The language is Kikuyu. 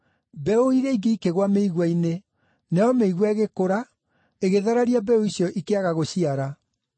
Mbeũ iria ingĩ ikĩgũa mĩigua-inĩ, nayo mĩigua ĩgĩkũra, ĩgĩthararia mbeũ icio ikĩaga gũciara.